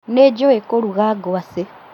Nĩnjũĩ kũruga ngwacĩ